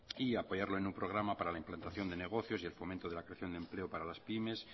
y apoyarlo en un programa para la implantación de negocios y el fomento de la creación de empleo para la pymes